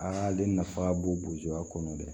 Aa ale nafa ka bon bosoya kɔnɔ dɛ